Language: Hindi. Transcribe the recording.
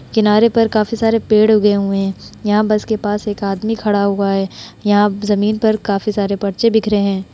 किनारे पर काफी सारे पेड़ उगे हुए है। यहाँ बस के पास आदमी खड़ा हुआ है। यहां जमीन पर काफी सारे पर्चे बिखरे हैं।